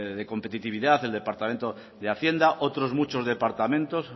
de competitividad el departamento de hacienda otros muchos departamentos